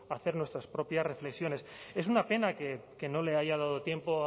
a hacer nuestras propias reflexiones es una pena que no le haya dado tiempo